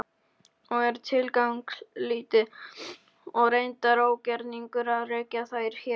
og er tilgangslítið og reyndar ógerningur að rekja þær hér.